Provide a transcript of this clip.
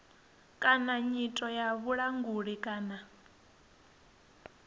kana nyito ya vhulanguli kana